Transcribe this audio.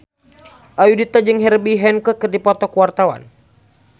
Ayudhita jeung Herbie Hancock keur dipoto ku wartawan